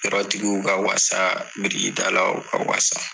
Yɔrɔtigiw ka wala birikitalaw ka wala.